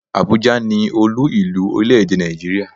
Abuja ni Olú ìlú orílè-èdè Nàìjíríà.